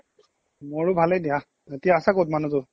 মোৰো ভালেই দিয়া, এতিয়া আছা ক'ত মানুহটো ?